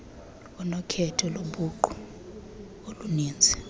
unokhetho lobuqu oluninzi